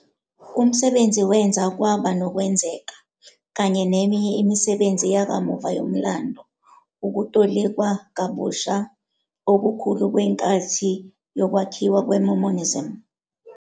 Umsebenzi wenza kwaba nokwenzeka, kanye neminye imisebenzi yakamuva yomlando, ukutolikwa kabusha okukhulu kwenkathi yokwakhiwa kweMormonism.